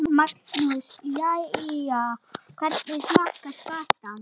Magnús: Jæja, hvernig smakkast skatan?